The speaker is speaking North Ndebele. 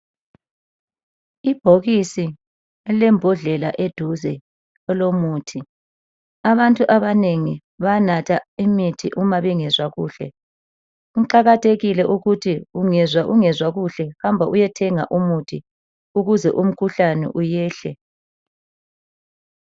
Ibhokisi lilembodlela eduze elomuthi abantu abanengi bayanatha imithi uma bengezwa kuhle, kuqakathekile ukuthi ungezwa ungezwa kuhle hamba uyethenga umuthi ukuze umkhuhlane uyehle.